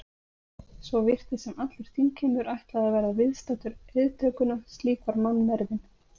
Svo virtist sem allur þingheimur ætlaði að verða viðstaddur eiðtökuna, slík var mannmergðin.